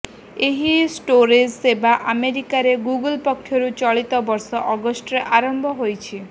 ଏହି ଷ୍ଟୋରେଜ ସେବା ଆମେରିକାରେ ଗୁଗଲ୍ ପକ୍ଷରୁ ଚଳିତ ବର୍ଷ ଅଗଷ୍ଟରେ ଆରମ୍ଭ ହୋଇଛି